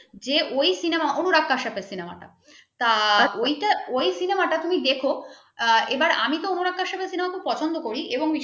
যে ওই cinema অনুরাগ কাশসাপের cinema টা । তার ওইটা ওই cinema টা তুমি দেখো এবার আমি তো অনুরাগ কাইসাফের cinema খুব পছন্দ করি